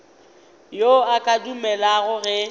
yo a ka dumelago ge